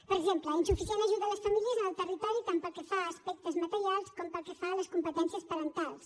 per exemple insuficient ajuda a les famílies en el territori tant pel que fa a aspectes materials com pel que fa a les competències parentals